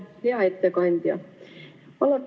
Hea ettekandja!